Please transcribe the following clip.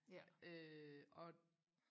øh og